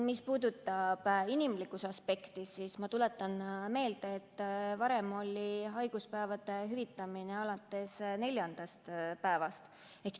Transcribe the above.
Mis puudutab inimlikkuse aspekti, siis ma tuletan meelde, et varem hüvitati haiguspäevi alates neljandast päevast.